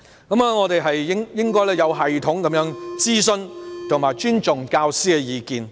我們應該有系統地徵詢並尊重教師的意見。